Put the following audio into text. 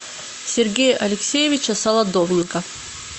сергея алексеевича солодовника